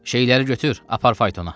Şeyləri götür, apar faytona.